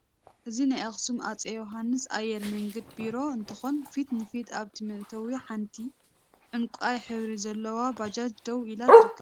እዚ ናይ አክሱም አፄ ዮሃንስ ኤየር መንገድ ቢሮ እንትኮን ፊት ንፊት አብ እቲ መእተዊ ሓንቲ ዕንቋይ ሕብሪ ዘለዋ ባጃጅ ደው ኢላ ትርከብ፡፡